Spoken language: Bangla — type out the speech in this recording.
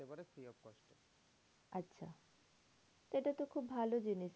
এটা তো খুব ভালো জিনিস।